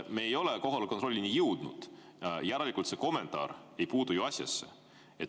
Me ei ole kohaloleku kontrollini jõudnud, järelikult see kommentaar ei puutu ju asjasse.